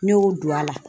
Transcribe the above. Ne y'o don a la